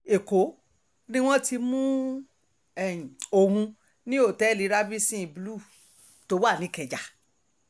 ṣùgbọ́n ìlú um èkó ni wọ́n ti mú um òun ní òtẹ́ẹ̀lì radisson blu tó wà ní ìkẹjà